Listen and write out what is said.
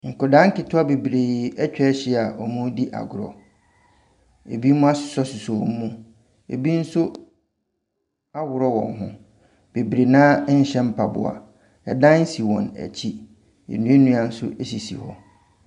Nkwadaa nketewa bebree atwa ahyia a wɔredi agorɔ. Binom asosɔsosɔ wɔn mu. Ɛbi nso aworɔ wɔn ho. Bebree no ara nhyɛ mpaboa, ɛdan si wɔn akyi. Nnua nnua nso sisi hɔ.